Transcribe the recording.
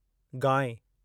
गांइ